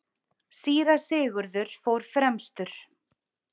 Síra Sigurður fór fremstur.